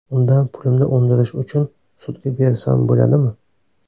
Undan pulimni undirish uchun sudga bersam bo‘ladimi?